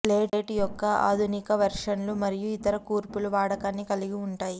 slate యొక్క ఆధునిక వెర్షన్లు మరియు ఇతర కూర్పులు వాడకాన్ని కలిగి ఉంటాయి